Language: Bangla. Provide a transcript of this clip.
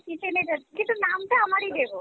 kitchen এর অ্যাঁ কিন্তু নাম টা আমারই দেবো ।